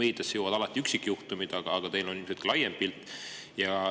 Meediasse jõuavad alati üksikjuhtumid, aga teil on ilmselt ka laiem pilt.